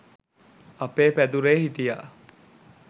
අපේ පැදුරෙ හිටිය